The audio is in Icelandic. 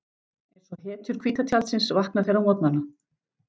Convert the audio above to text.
Einsog hetjur hvíta tjaldsins vakna þeir á morgnana.